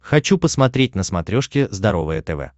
хочу посмотреть на смотрешке здоровое тв